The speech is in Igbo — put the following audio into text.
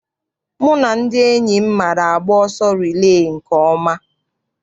Mụ na ndị enyi m maara agba ọsọ rilee nke ọma.